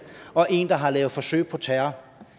og en der har lavet forsøg på terror